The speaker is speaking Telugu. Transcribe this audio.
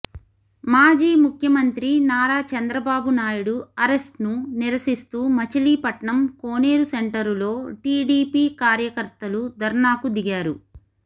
మాజీ ముఖ్యమంత్రి నారా చంద్రబాబు నాయుడు అరెస్ట్ ను నిరసిస్తూ మచిలీపట్నం కోనేరుసెంటరులో టీడీపీ కార్యకర్తలు ధర్నాకు దిగారు